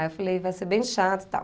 Aí eu falei, vai ser bem chato e tal.